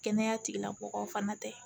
Kɛnɛya tigilamɔgɔw fana tɛ